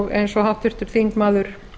eins og háttvirtur þingmaður